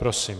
Prosím.